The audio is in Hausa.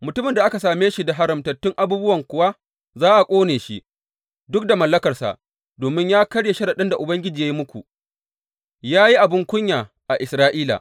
Mutumin da aka same shi da haramtattun abubuwan kuwa za a ƙone shi, duk da mallakarsa domin ya karya sharaɗin da Ubangiji ya yi muku, ya yi abin kunya a Isra’ila!’